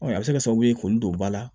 a bɛ se ka kɛ sababu ye k'olu don ba la